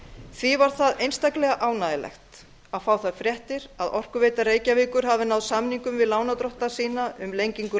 því var það einstaklega ánægjulegt að fá þær fréttir að orkuveita reykjavíkur hafi náð samingum við lánardrottna sína um lengingu